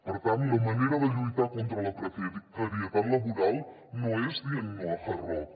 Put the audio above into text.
per tant la manera de lluitar contra la precarietat laboral no és dient no a hard rock